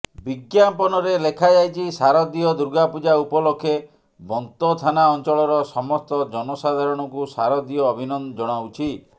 ବିଜ୍ଞାପନରେ ଲେଖାଯାଇଛି ଶାରଦୀୟ ଦୁର୍ଗାପୂଜା ଉପଲକ୍ଷେ ବନ୍ତ ଥାନା ଅଞ୍ଚଳର ସମସ୍ତ ଜନସାଧାରଣଙ୍କୁ ଶାରଦୀୟ ଅଭିନନ୍ଦନ ଜଣାଉଛି